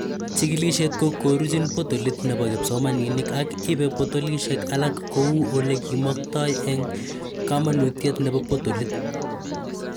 Chikilishet ko koruchin potolit nebo kipsomaninik ak ibei potolishek alak ko u olekimaktoi eng kamanutiet nebo potolit.